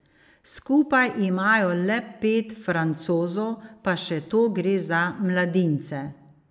Skupaj imajo le pet Francozov, pa še to gre za mladince.